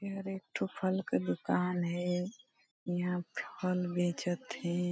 तो फल का दुकान है यहां फल बेचत है।